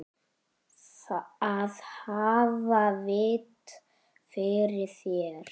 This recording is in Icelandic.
Að hafa vit fyrir þér?